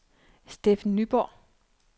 Steffen Nyborg